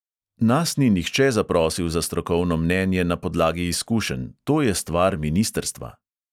Nas ni nihče zaprosil za strokovno mnenje na podlagi izkušenj, to je stvar ministrstva.